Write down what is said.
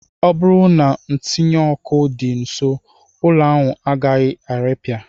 Ọ bụrụ na ntinyụọkụ dị nsọ, ụlọ ahụ agaraghị irepịa